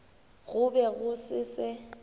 go be go se se